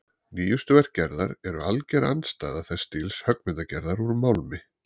Nýjustu verk Gerðar eru alger andstæða þess stíls höggmyndagerðar úr málmi.